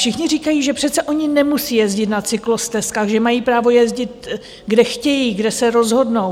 Všichni říkají, že přece oni nemusí jezdit na cyklostezkách, že mají právo jezdit, kde chtějí, kde se rozhodnou.